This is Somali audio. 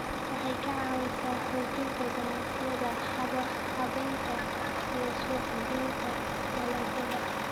Waxay ka caawisaa xoojinta ganacsiyada habaynta iyo suuq-geynta dalagyada.